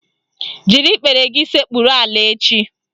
Jiri ikpere gị sekpuru ala echi